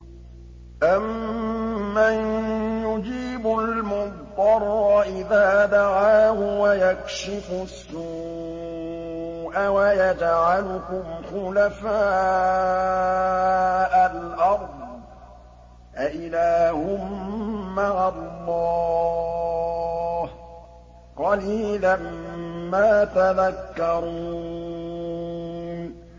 أَمَّن يُجِيبُ الْمُضْطَرَّ إِذَا دَعَاهُ وَيَكْشِفُ السُّوءَ وَيَجْعَلُكُمْ خُلَفَاءَ الْأَرْضِ ۗ أَإِلَٰهٌ مَّعَ اللَّهِ ۚ قَلِيلًا مَّا تَذَكَّرُونَ